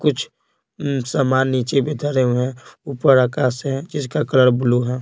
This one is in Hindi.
कुछ सामान नीचे भी धरे हुए हैं ऊपर आकाश है जिसका कलर ब्लू है।